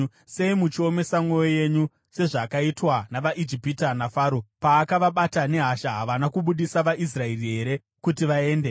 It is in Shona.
Sei muchiomesa mwoyo yenyu sezvakaitwa navaIjipita naFaro? Paakavabata nehasha, havana kubudisa vaIsraeri here kuti vaende?